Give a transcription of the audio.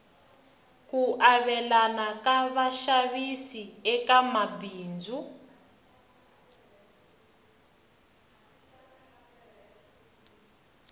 ku avelana ka xavisiwa eka mabindzu